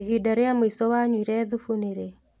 Ihinda rĩa mũico wanyuire thubu nĩ rĩ?